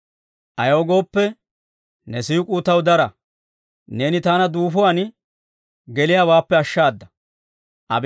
Ayaw gooppe, ne siik'uu taw dara; neeni taana duufuwaan geliyaawaappe ashshaada.